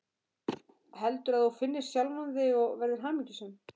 Heldur að þú finnir sjálfan þig og verðir hamingjusöm.